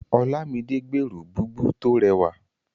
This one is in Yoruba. Olámidé gbèrò búbù tó rẹwà.